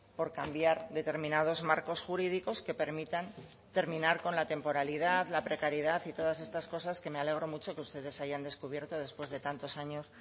por cambiar determinados marcos jurídicos que permitan terminar con la temporalidad la precariedad y todas estas cosas que me alegro mucho que ustedes hayan descubierto después de tantos años